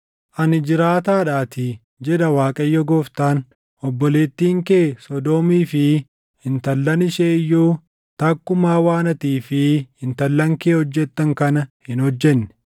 Ani jiraataadhaatii, jedha Waaqayyo Gooftaan; obboleettiin kee Sodoomii fi intallan ishee iyyuu takkumaa waan atii fi intallan kee hojjettan kana hin hojjenne.